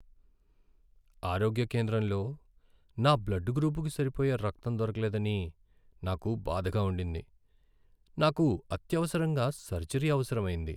ఆరోగ్య కేంద్రంలో నా బ్లడ్ గ్రూపుకు సరిపోయే రక్తం దొరకలేదని నాకు బాధగా ఉండింది. నాకు అత్యవసరంగా సర్జరీ అవసరమైంది.